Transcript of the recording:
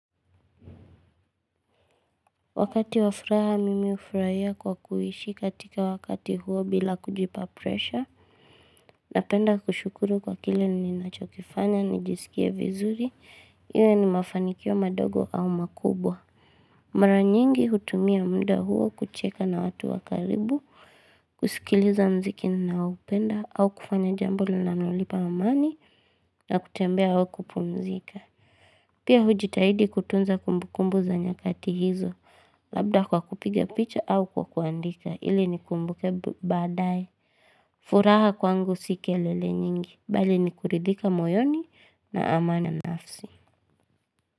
Wakati wa furaha, mimi hufurahia kwa kuishi katika wakati huo bila kujipa presha. Napenda kushukuru kwa kile ninachokifanya, nijisikie vizuri, iwe ni mafanikio madogo au makubwa. Mara nyingi hutumia muda huo kucheka na watu wa karibu, kusikiliza muziki ninaoupenda, au kufanya jambo linalonipa amani, na kutembea au kupumzika. Pia hujitahidi kutunza kumbukumbu za nyakati hizo, labda kwa kupiga picha au kwa kuandika, ili ni kumbuke baadaye. Furaha kwangu si kelele nyingi, bali ni kuridhika moyoni na amani ya nafsi.